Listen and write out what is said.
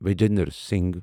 Vijender Singh